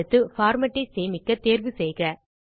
அடுத்து பார்மேட் ஐ சேமிக்கத் தேர்வு செய்க